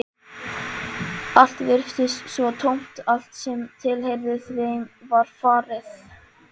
Allt virtist svo tómt, allt sem tilheyrði þeim var farið.